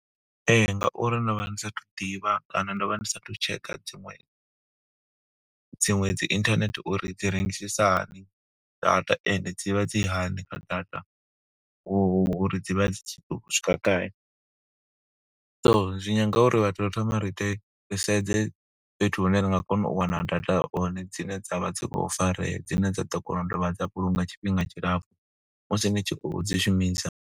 Ee, ngauri ndo vha ndi sa athu ḓivha kana ndo vha ndi sathu tshekha dziṅwe dziṅwe dzi internet uri dzi rengisisa hani data. Ende dzi vha dzi hani kha data, uri dzi vha dzi khou swika gai. So zwi nyanga uri vhathu ri thoma ri ite. Ri sedze fhethu hune ri nga kona u wana data hone dzine dza vha dzi khou farea, dzine dza ḓo kona u dovha dza vhulunga tshifhinga tshilapfu, musi ni tshi khou dzi shumisa.